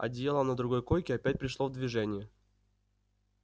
одеяло на другой койке опять пришло в движение